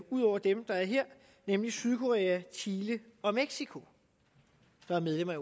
ud over dem der er her nemlig sydkorea chile og mexico der er medlem af